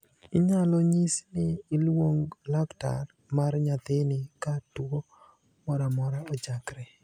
Inyalo nyisi ni iluong laktar mar nyathini ka tuo moramora ochakre,